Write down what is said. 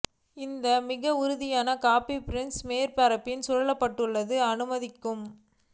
இந்த மிக உறுதியாக காபி பீன்ஸ் மேற்பரப்பில் சூழப்பட்டுள்ள அனுமதிக்கும்